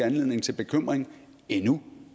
anledning til bekymring endnu